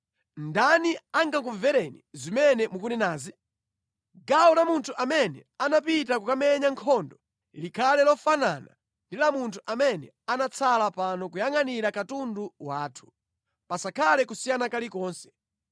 Ndani angakumvereni zimene mukunenazi? Gawo la munthu amene anapita kukamenya nkhondo likhale lofanana ndi la munthu amene anatsala pano kuyangʼanira katundu wathu. Pasakhale kusiyana kulikonse.”